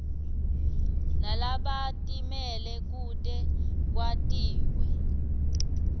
nalabatimele kute kwentiwe